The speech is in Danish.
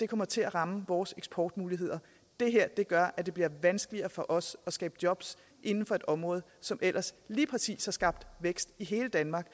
kommer til at ramme vores eksportmuligheder det her gør at det bliver vanskeligere for os at skabe jobs inden for et område som ellers lige præcis har skabt vækst i hele danmark